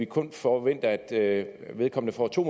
kun forventer at vedkommende får to